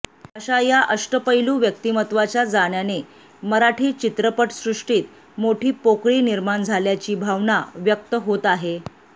अशा या अष्टपैलू व्यक्तिमत्त्वाच्या जाण्याने मराठी चित्रपटसृष्टीत मोठी पोकळी निर्माण झाल्याची भावना व्यक्त होत आहे